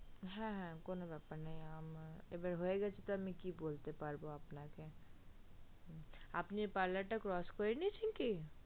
হা হা কোনো ব্যাপার নেই এবার হয়ে গেছে তো আমি কি বলতে পারবো আপনাকে আপনি parlor টা crotch করে নিয়েছেন কি